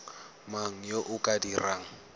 mang yo o ka dirang